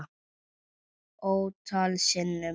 Ótal sinnum.